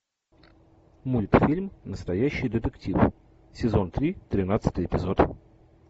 мультфильм настоящий детектив сезон три тринадцатый эпизод